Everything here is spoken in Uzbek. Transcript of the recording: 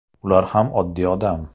Ular ham oddiy odam.